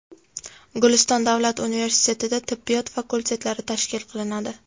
Guliston davlat universitetida tibbiyot fakultetlari tashkil qilinadi.